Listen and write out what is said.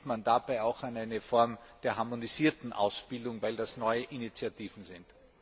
Denkt man auch an eine Form der harmonisierten Ausbildung, weil das neue Initiativen sind?